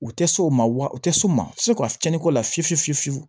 U tɛ s'o ma wa u tɛ s'u ma se ka fiɲɛn ko la fiyewu fiyewu fiyewu